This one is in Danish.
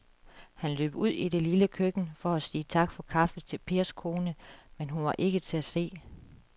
Han løb ud i det lille køkken for at sige tak for kaffe til Pers kone, men hun var ikke til at se.